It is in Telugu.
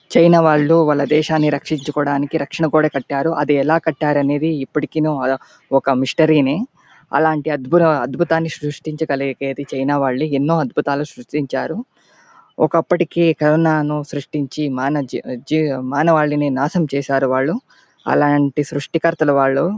చైనా వాళ్ళు వాళ్ళ దేశాన్ని రక్షించి కోవడానికి రక్షణ గోడ కట్టారు అది ఎలా కట్టారు అనేది ఇప్పటికిని ఆ మిస్టరీనే అలంటి అద్భుర అద్భుతాన్ని సృష్టించ గలిగేది చైనా వాళ్లే ఎన్నో అద్భుతాలు సృష్టించారు ఒక్కపుడు కరోనా న సృష్టించి మేనేజ్ మానవాళ్ళని నాశనం చేసారు వాళ్ళు అలాంటి సృష్టి కర్తలు వాళ్ళు.